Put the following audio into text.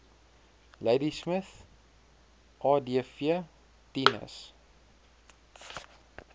ladismith adv tinus